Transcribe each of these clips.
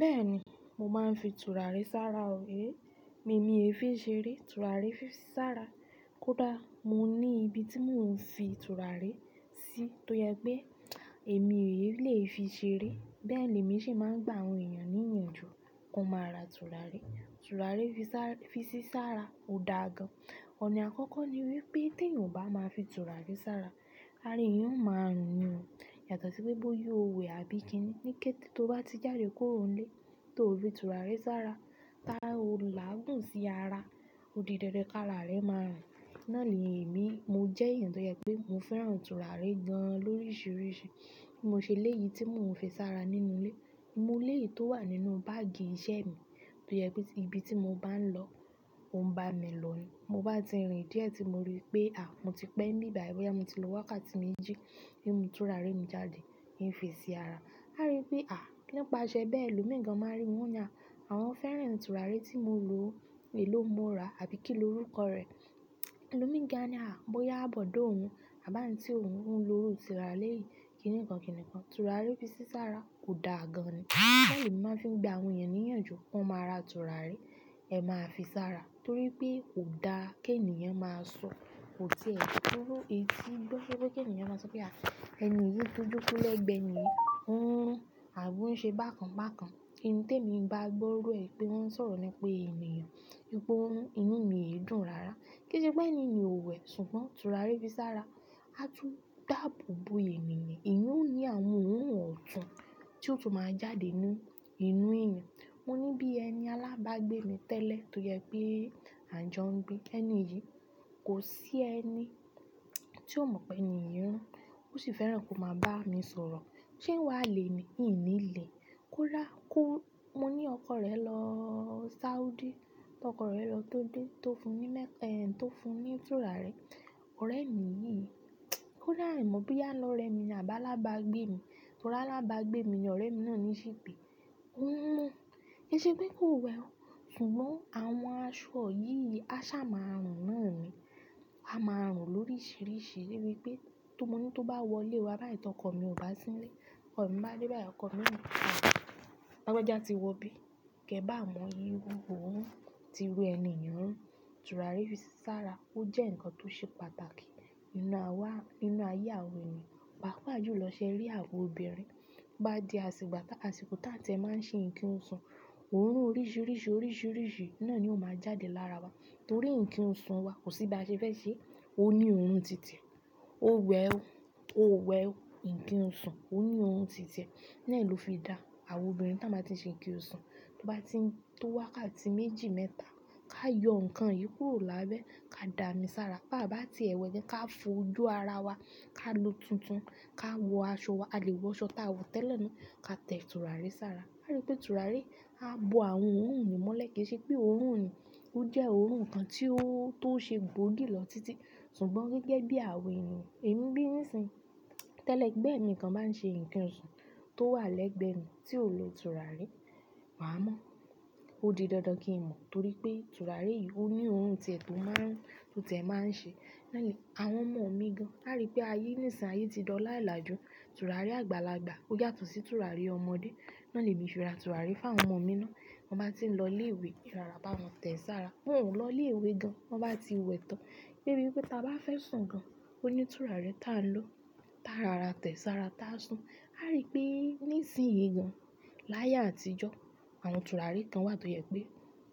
Bẹ́ẹ̀ni, mo máa ń fi tùràrí sára o, èé mi ò lè fi ṣeré, tùràrí fi ṣí sára. Kódà mo ní ibi tí mò ń fi tùràrí sí tó yẹ pé èmi ò lè fi ṣeré. Bẹ́ẹ̀ ni èmi sì máa ń gba àwọn èèyàn níyànjú kí wọ́n máa ra tùràrí. Tùràre fi ṣí sára ò dáa gan. Ọ̀nà àkọ́kọ́ ni wípé tí èèyàn ò bá máa fi tùràre sára, á rí i ó máa rùn yàn tó tí pé bó yóò wẹ̀ àbí kíni. Ní kété tó bá ti jáde kúrò ilé tó fi tùràre sára, tá ò láàgùn sí ara, ó di dandan ká ra re máa rùn. Náà ni èmi, mo jẹ́ èèyàn tó yẹ pé mo fẹ́ràn tùràre gan lóríṣiríṣi. Mo ṣe ilé yìí tí mò ń fi sára nínú ilé. Mo lé yì tó wà nínú báàgì iṣẹ́ mi tó yẹ pé ibi tí mo bá ń lọ, ò ń bá mi lòó ni. Mo bá ti rìn díẹ̀ tí mo rí pé à, mo ti pẹ́ ní ìbà èwọ̀ yẹn, mo ti lo wákàtí méjì nínú tùràre mi jáde, ì fi sí ara. A rí i pé à, nípa ṣẹ bẹ́ẹ̀, ẹlòmíìgan máa rí mú yàn, àwọn fẹ́ràn tùràre tí mo lò, èló mo rà àbí kíni orúkọ rẹ̀. Ẹlòmíìgan ní à, bóyá àbọ̀dọ̀ òun àbá nítorí òun ló ro tùràrí yìí, kìnìǹkan, kìnìǹkan. Tùràràrí fi ṣí sára ò dáa gan ni. Bẹ́ẹ̀ ni màá ń fi gba àwọn èèyàn níyànjú kí wọ́n máa ra tùràrí, ẹ máa fi sára torí pé ò dáa kí èèyàn máa sọ òtí ẹ̀ kúró etí. Tó ṣe pé kí èèyàn máa sọ pé à, ẹni yìí túntún lẹ́gbẹ́ ni, òun àbò ń ṣe bákan bákan. Ẹni tí èmi bá gbóró ẹ̀ pé wọ́n ń sọ̀rọ̀ ni pé èèyàn, ipò òun, inú mi yé dùn rara. Kí í ṣe pé ẹni ò wẹ̀ ṣùgbọ́n tùràrí fi sára, a tún dàbò bo ènìyàn. Ìyẹn ó ní àwọn ohun ọ̀tún tí ó tún máa jáde nínú inú ẹyan. Mo ní bí ẹni alábágbé mi tẹ́lẹ̀ tó yẹ pé àń jọ ń gbé. Ẹni yìí kò sí ẹni tí ó mọ̀ pé eńi yì rùn, ó sì fẹ́ràn kó máa bá mi sọ̀rọ̀. Ṣé wà lè ni ẹni lé? Kúrà, kú, mo ní ọkọ rẹ lọ Saudi. Tí ọkọ rẹ lọ tó dé, tó fún ní mẹ́- ẹ̀, tó fún ní tùràre. Ọ̀rẹ́ mi yìí, ó dàá rẹ̀ mọ̀ bí a lọ rẹ mi ní àbá alábágbé mi. Torí alábágbé mi ni ọ̀rẹ́ mi náà ní sì pé. Ó mú, kò ṣe pé kò wẹ̀ o, ṣùgbọ́n àwọn aṣọ yìí, aṣá máa rùn nàn mi. A máa rùn lóríṣiríṣi débi pé tó mo ní tó bá wọlé wa bá tọ́kọ mi ò bá sílé. Ọkọ mi bá dé bá yì, ọkọ mi yóò pa mi. Gẹ́gẹ́ bí a mọ ìrú òun ti wu ẹni èèyàn. Tùràre fi sára, ó jẹ́ nǹkan tó ṣe pàtàkì nínú àwá, nínú ayé àwọn èèyàn. Pàápàá jù lọ ṣẹ́ rí àwọn obìnrin bá di àsìkò tá- àsìkò táńtẹ̀ máa ń ṣe ìkíhun sùn. Òórùn oríṣiríṣi, oríṣiríṣi náà ni ó máa jáde lára wa torí ìkíhun sùn wa kò sí ba ṣe fẹ́ ṣe. Ó ní òórùn tìte, ó wẹ̀ o, ó wẹ̀ o. Ìkíhun sùn ó ní òórùn tìtẹ̀. Nẹ́ẹ̀ ló fi dá àwọn obìnrin táa máa ti ṣe ìkíhun sùn. Tó bá ti ń tó wákàtí méjì mẹ́ta, ká yọ nǹkan yìí kúrò lábẹ́, ká dàámi sára. Pá bá ti ẹ̀wẹ̀ jẹ́ ká fojú ara wa, ká lu tuntun, ká wọ aṣọ wa. A lè wọ aṣọ táa wọ tẹ́lẹ̀ ni, ká tẹ̀ tùràrí sára. A rí i pé tùràre á bo àwọn òórùn yìí mọ́lẹ̀ kí í ṣe pé òórùn yìí ó jẹ́ òórùn kan tí ó, tó ṣe gbóògì lọ títí. Ṣùgbọ́n gẹ́gẹ́ bí àwọn èèyàn, èmi bí nísìnyí, tẹ́lẹ̀ ẹgbẹ́ mi kan máa ń ṣe ìkíhun sùn tó wà lẹ́gbẹ̀ẹ́ mi tí ò lo tùràrí, màá mọ̀. Ó di dandan kí n mọ̀ torí pé tùràre yìí ó ní òórùn tẹ̀ tó máa ń, tó tẹ̀ máa ń ṣe. Nẹ́ẹ̀ ni àwọn ọmọ mi gan. A rí i pé ayé nísìnyí ti dọ̀ láìlàjú. Tùràrí àgbàlagbà ó yàtọ̀ sí tùràrí ọmọdé. Náà ni èmi fi ra tùràrí fún àwọn ọmọ mi ná. Wọ́n bá ti ń lọ ilé ìwé, ìrarapa wọn tẹ̀ ẹ́ sára. Wọ́n ò lọ ilé ìwé gan, wọ́n bá ti wẹ̀ tán. Débi wípé tí a bá fẹ́ sùn gan, ó ní tùràrí tí a ń lò. Táa rara tẹ̀ ẹ́ sára, táa sùn. A rí i pé nísìnyí gan láyé àtijọ́, àwọn tùràrí kan wà tó yẹ pé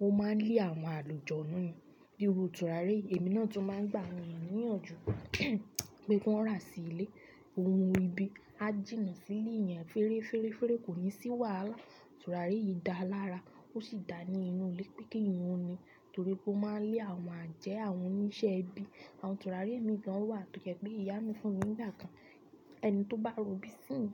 ó máa ń lé àwọn àlùjọ nínú ni. Bí i òrò tùràrí èmi náà tó máa ń gbà èèyàn níyànjú pé kí wọ́n rà sí ilé. Òórùn ibi, á jìnnà sí ilé yẹn feere, feere, feere kò ní sí wàlaha. Tùràre yìí dàá lára, ó sì dà ní inú ilé pé kí ìwọ ni, torí pé ó máa ń lé àwọn àjẹ́, àwọn oníṣẹ́ ibi. Àwọn tùràre mi kan wà tó jẹ pé ìyá mi fún mi nígbà kan. Ẹni tó bá ro bí sínú,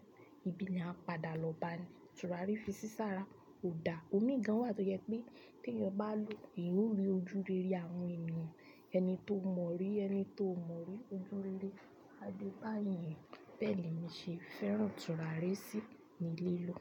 ibi ni a padà lọ bá a ni. Tùràrí fi ṣí sára ò dáa. Òórùn mi kan wà tó yẹ pé tí èèyàn bá lò ó, ìwúre ojúrere àwọn èèyàn, ẹni tó mọ̀ rí, ẹni tó ò mọ̀ rí ojúrere, a dé bá ìyẹn. Bẹ́ẹ̀ ni èmi ṣe fẹ́ràn tùràre sí nílé ló.